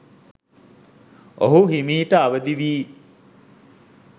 ඔහු හෙමිහිට අවදි වී